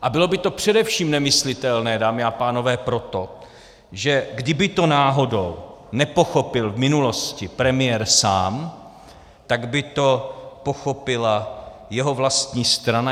A bylo by to především nemyslitelné, dámy a pánové, proto, že kdyby to náhodou nepochopil v minulosti premiér sám, tak by to pochopila jeho vlastní strana.